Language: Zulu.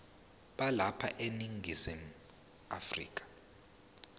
balapha eningizimu afrika